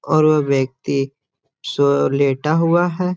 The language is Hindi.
और वो व्यक्ति सो लेटा हुआ है।